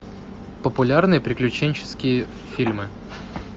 популярные приключенческие фильмы